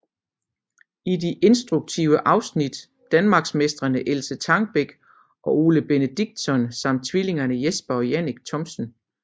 I de instruktive afsnit danmarksmestrene Else Trangbæk og Ole Benediktsson samt tvillingerne Jesper og Jannik Thomsen